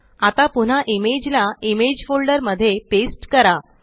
आता पुन्हा इमेज ला इमेज फोल्डर मध्ये पेस्ट करा